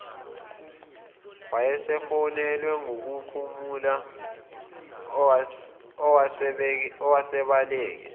wayesefonelwe nguphumla owasebaleke